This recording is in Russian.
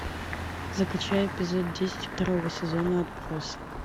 закачай эпизод десять второго сезона отбросы